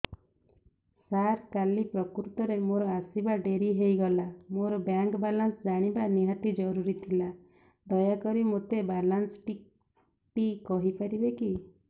ସାର କାଲି ପ୍ରକୃତରେ ମୋର ଆସିବା ଡେରି ହେଇଗଲା ମୋର ବ୍ୟାଙ୍କ ବାଲାନ୍ସ ଜାଣିବା ନିହାତି ଜରୁରୀ ଥିଲା ଦୟାକରି ମୋତେ ମୋର ବାଲାନ୍ସ ଟି କହିପାରିବେକି